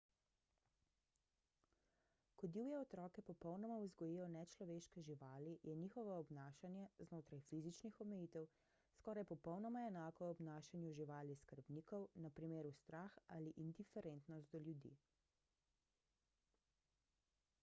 ko divje otroke popolnoma vzgojijo nečloveške živali je njihovo obnašanje znotraj fizičnih omejitev skoraj popolnoma enako obnašanju živali-skrbnikov na primer strah ali indiferentnost do ljudi